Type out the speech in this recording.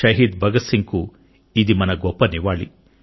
షహీద్ భగత్ సింగ్ కు ఇది మన గొప్ప నివాళి